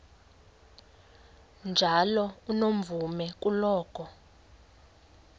njalo unomvume kuloko